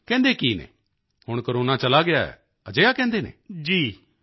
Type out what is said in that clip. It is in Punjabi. ਨਹੀਂ ਕਹਿੰਦੇ ਕੀ ਹਨ ਹੁਣ ਕੋਰੋਨਾ ਚਲਾ ਗਿਆ ਅਜਿਹਾ ਕਹਿੰਦੇ ਹਨ